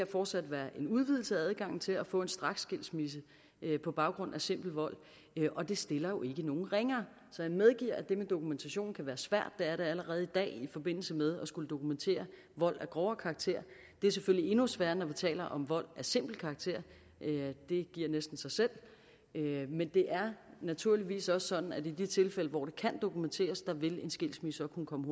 fortsat være en udvidelse af adgangen til at få en straksskilsmisse på baggrund af simpel vold og det stiller jo ikke nogen ringere så jeg medgiver at det med dokumentationen kan være svært det er det allerede i dag i forbindelse med at skulle dokumentere vold af grovere karakter det er selvfølgelig endnu sværere når vi taler om vold af simpel karakter det giver næsten sig selv men det er naturligvis også sådan at i de tilfælde hvor det kan dokumenteres vil en skilsmisse kunne komme